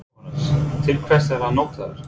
Jóhannes: Til hvers er hann notaður?